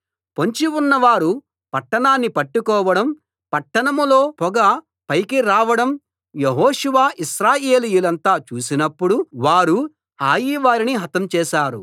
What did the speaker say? పొంచి ఉన్నవారు పట్టణాన్ని పట్టుకోవడం పట్టణంలో పొగ పైకి రావడం యెహోషువ ఇశ్రాయేలీయులంతా చూసినప్పుడు వారు హాయి వారిని హతం చేశారు